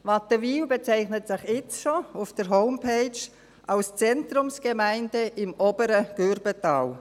Wattenwil bezeichnet sich jetzt schon auf der Homepage als Zentrumsgemeinde im Oberen Gürbental.